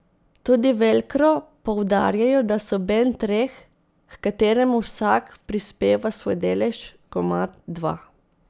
Tudi Velkro poudarjajo, da so bend treh, h kateremu vsak prispeva svoj delež, komad, dva.